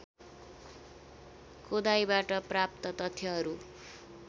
खोदाइबाट प्राप्त तथ्यहरू